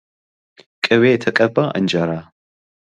ቂቤ የተቀባ እንጀራ።